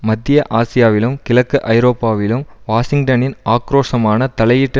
மத்திய ஆசியாவிலும் கிழக்கு ஐரோப்பாவிலும் வாஷிங்டனின் ஆக்கிரோஷமான தலையீட்டு